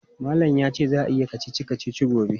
Malam ya ce za a yi kacici-kacici gobe.